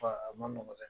a ma nɔgɔ dɛ